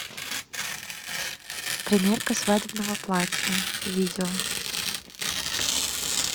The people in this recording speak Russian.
примерка свадебного платья видео